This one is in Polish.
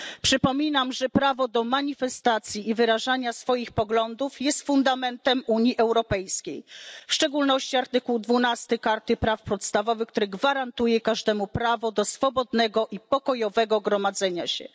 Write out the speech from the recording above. Przypominam, że prawo do manifestacji i wyrażania swoich poglądów jest fundamentem Unii Europejskiej, zapisanym w szczególności w artykule 12 Karty Praw Podstawowych, który gwarantuje każdemu prawo do swobodnego i pokojowego gromadzenia się.